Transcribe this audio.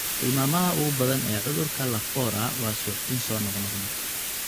Tilmaamaha ugu badan ee cudurka Lafora waa suuxdin soo noqnoqda.